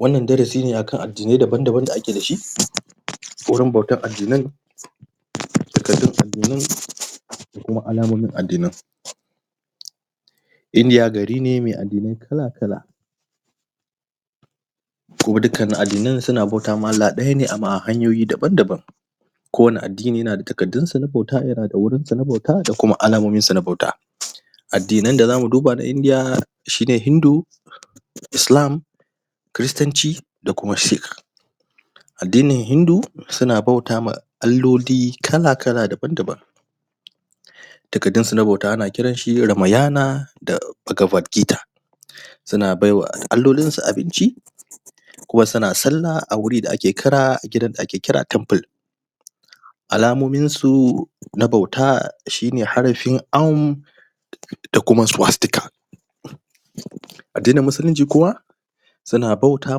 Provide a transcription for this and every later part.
wannan darasi ne a kan addinai daban daban da ake da shi wurin bautan addinan takardun addinan da kuma alamomin addinan india gari ne: mai addinai kala kala kuma dukkanin addinan suna bauta ma allah ɗaya ne amma hanyoyi daban daban kowane addini yana da takardunsa na bauta yana da wurinsa na bauta da kuma alamominsa na bauta addinan da za mu duba na india shi ne hindu islam kiristanci da kuma sikh addinin hindu suna bauta ma alloli kala kala daban daban takardunsu na bauta ana ce mashi ramayana da bagavargita suna bai wa allolinsu abinci kuma suna sallah a wuri da ake kira gidan da ake kira temple alamominsu na bauta shi ne harafin arm da kuma swastika addinin musulunci kuma suna bauta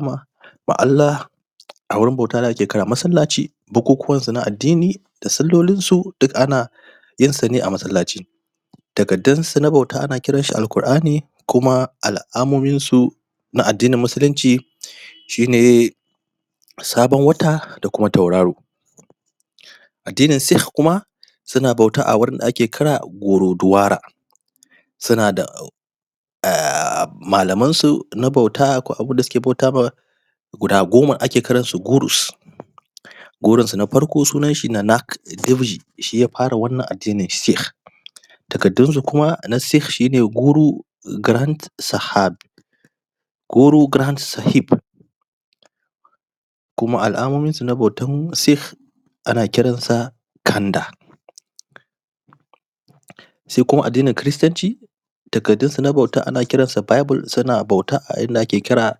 ma allah a wurin bauta da ake kira masallaci bukukuwansu na addini da sallolinsu duk ana yinsu ne a masallaci takardunsu na bauta ana kiranshi alƙur’ani kuma alamominsu na addinin musulunci shi ne sabon wata da kuma tauraro addinin sikh kuma suna bauta a wurin da ake kira gurdwara suna da malamansu na bauta ko abin da suke bauta ma guda goma ake kiransu gurus gurunsu na farko sunanshi nanak dev ji shi ya fara wannan addinin sikh takardunsu kuma na sikh shi ne guru granth sahib guru granth sahib kuma alamominsu na bautan sikh ana kiransa khanda sai kuma addinin kiristanci takardunsu na bauta ana kiransa bible sannan a bauta inda ake kira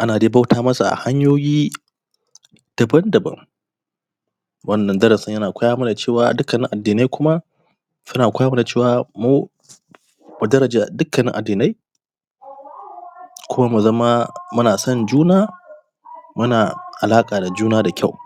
ana dai bauta masu a hanyoyi daban daban wannan darasin yana koya mana cewa dukkanin addinai kuma suna koya mana cewa mu mu daraja dukkanin addinai kuma mu zama muna son juna muna alaƙa da juna da kyau